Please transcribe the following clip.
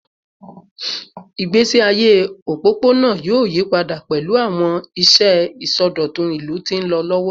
Igbesi aye opopona yoo yipada pẹlu awọn iṣẹ isọdọtun ilu ti nlọ lọwọ